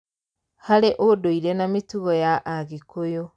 Harĩ ũndũire na mĩtugo ya agĩkũyũ